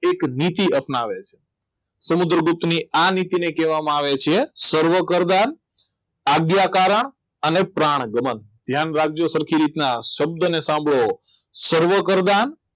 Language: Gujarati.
એક નીતિ અપનાવે છે સમુદ્રગુપ્તની આ અને તેને કહેવામાં આવે છે સર્વપ્રધાન આગયા કરણ અને પ્રાણ ગમન ધ્યાન રાખજો સરખી રીતના શબ્દોને સાંભળો સર્વપ્રધાન